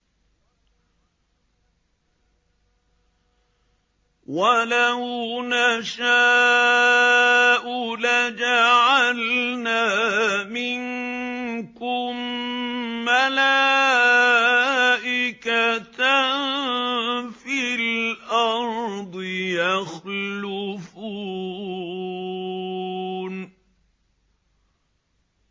وَلَوْ نَشَاءُ لَجَعَلْنَا مِنكُم مَّلَائِكَةً فِي الْأَرْضِ يَخْلُفُونَ